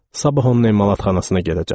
Sabah onun emalatxanasına gedəcəm.